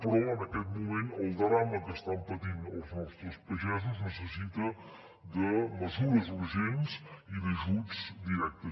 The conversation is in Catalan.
però en aquest moment el drama que estan patint els nostres pagesos necessita mesures urgents i ajuts directes